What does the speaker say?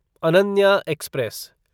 Ananya express